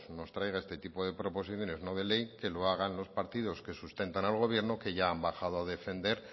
nos traiga este tipo de proposiciones no de ley que lo hagan los partidos que sustentan al gobierno que ya han bajado a defender